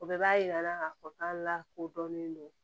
O bɛɛ b'a yira la k'a fɔ k'an lakodɔnnen don